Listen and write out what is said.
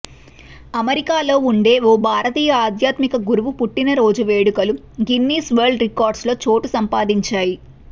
అమెరికాలో ఉండే ఓ భారతీయ ఆధ్యాత్మిక గురువు పుట్టిన రోజు వేడుకలు గిన్నీస్ వరల్డ్ రికార్డుల్లో చోటు సంపాదించాయి